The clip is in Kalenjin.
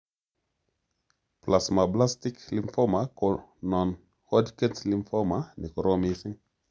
Plasmablastic lymphoma ko non hodgkin lymphoma ne korom missing